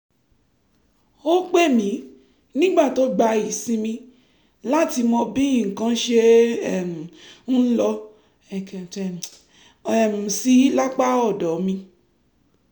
ó pè mí nígbà tó gba ìsinmi láti mọ bí nǹkan ṣe um ń lọ um sí lápá ọ̀dọ̀ mi